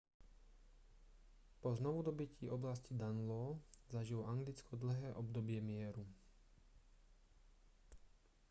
po znovudobytí oblasti danelaw zažilo anglicko dlhé obdobie mieru